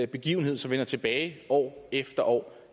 begivenhed som vender tilbage år efter år